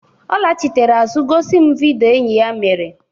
Ọ lachitere azụ gosi m vido enyi ya mere.